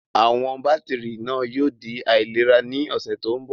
Àwọn bátìrì náà yóò di aláìlera ní ọ̀sẹ̀ tó ń bọ̀.